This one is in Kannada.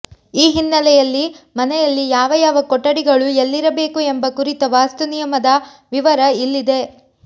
ಈ ಹಿನ್ನೆಲೆಯಲ್ಲಿ ಮನೆಯಲ್ಲಿ ಯಾವ ಯಾವ ಕೊಠಡಿಗಳು ಎಲ್ಲಿರಬೇಕು ಎಂಬ ಕುರಿತ ವಾಸ್ತು ನಿಯಮದ ವಿವರ ಇಲ್ಲಿದೆ